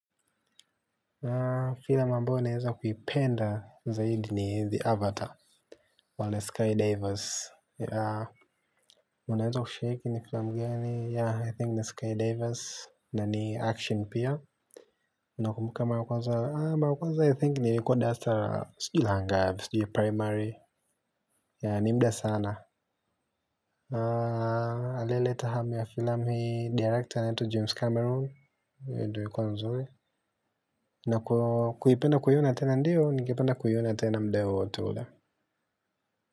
Filamu ambayo ninaweza kuipenda zaidi ni the avatar, wale skydivers. Unaweza kushaiki ni filamu gani? I think 'The Skydivers' na ni action pia. Unakumbuka mara ya kwaza? Mara ya kwanza I think nilikuwa darasa la siujui la ngapi, siujui primary? Nimuda sana. Alieleta hami wa filamu hii, director anayeitwa James Cameron ndiyo ilikuwa nzuri. Na kupenda kuiouna tena? Ndiyo ningependa kuiona tena muda wowote huyo.